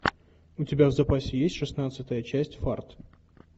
у тебя в запасе есть шестнадцатая часть фарт